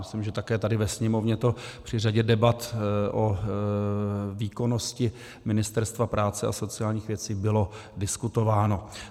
Myslím, že také tady ve Sněmovně to při řadě debat o výkonnosti Ministerstva práce a sociálních věcí bylo diskutováno.